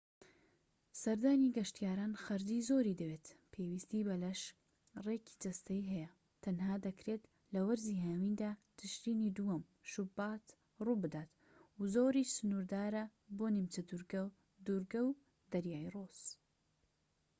سەردانی گەشتیاران خەرجی زۆری دەوێت پێویستی بە لەش ڕێکی جەستەیی هەیە تەنها دەکرێت لە وەرزی هاویندا تشرینی دووەم-شوبات ڕووبدات و زۆریش سنووردارە بۆ نیمچە دوورگە دوورگە و دەریای ڕۆس